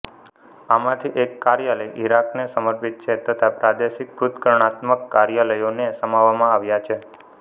આમાંથી એક કાર્યાલય ઇરાકને સમર્પિત છે તથા પ્રાદેશિક પૃથક્કરણાત્મક કાર્યલયોને સમાવવામાં આવ્યા છે